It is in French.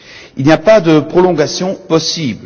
Il n'y a pas de prolongation possible.